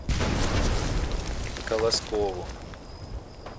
колоскову